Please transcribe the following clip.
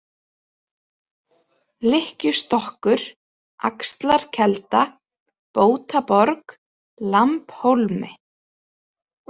Lykkjustokkur, Axlarkelda, Bótaborg, Lambhólmi